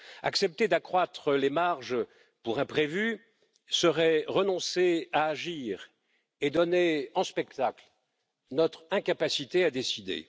Accepter d'accroître les marges pour imprévus serait renoncer à agir et donner en spectacle notre incapacité à décider.